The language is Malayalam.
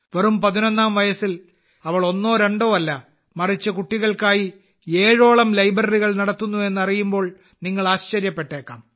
വെറും പതിനൊന്നാം വയസ്സിൽ അവൾ ഒന്നോ രണ്ടോ അല്ല മറിച്ച് കുട്ടികൾക്കായി ഏഴോളം ലൈബ്രറികൾ നടത്തുന്നു എന്നറിയുമ്പോൾ നിങ്ങൾ ആശ്ചര്യപ്പെട്ടേക്കാം